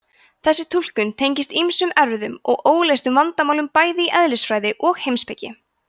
þessi túlkun tengist ýmsum erfiðum og óleystum vandamálum bæði í eðlisfræði og heimspeki